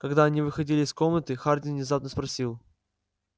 когда они выходили из комнаты хардин внезапно спросил